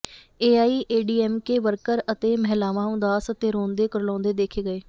AIADMK worker ਅਤੇ ਮਹਿਲਾਵਾਂ ਉਦਾਸ ਅਤੇ ਰੋਂਦੇ ਕੁਰਲਾਉਂਦੇ ਦੇਖੇ ਗਏ